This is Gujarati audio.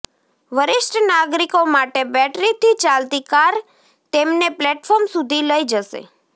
વરિષ્ઠ નાગરિકો માટે બેટરીથી ચાલતી કાર તેમને પ્લેટફોર્મ સુધી લઇ જશે